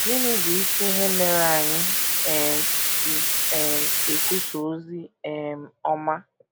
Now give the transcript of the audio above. Gịnị bụ isi ihe mere anyị um ji um ekwusa ozi um ọma?